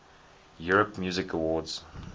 europe music awards